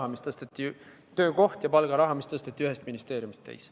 Need on töökoht ja palgaraha, mis tõsteti ühest ministeeriumist teise.